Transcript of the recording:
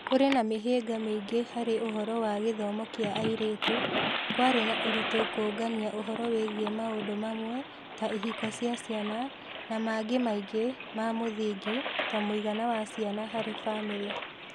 Kũrĩ na mĩhĩnga mĩingĩ harĩ ũhoro wa gĩthomo kĩa airĩtu, kwarĩ na ũritũ kũũngania ũhoro wĩgiĩ maũndũ mamwe (ta ihiko cia ciana) na mangĩ maingĩ ma mũthingi (ta mũigana wa ciana harĩ famĩlĩ).